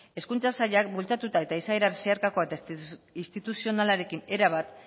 hezkuntza sailak bultzatuta eta izaera zeharkakoa eta instituzionalarekin erabat